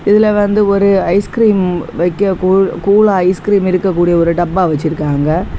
இதுல வந்து ஒரு ஐஸ்கிரீம் வைக்க கூல் கூலா ஐஸ்கிரீம் இருக்க கூடிய ஒரு டப்பா வச்சிருக்காங்க.